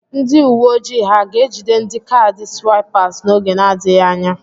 Nd uwe ojii ha ga-ejide ndi kaadị swaịpas n'oge na-adịghị anya?